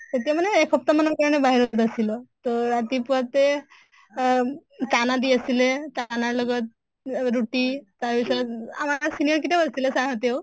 তেতিয়া মানে এসপ্তাহ মানৰ কাৰণে বাহিৰত আছিলোঁ। তʼ ৰাতিপুৱাতে আহ দি আছিলে, ৰ লগত ৰুটি তাৰ পিছত আমাৰ senior কিটাও আছিলে sir হতেও